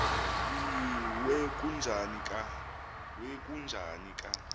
we kujuni ka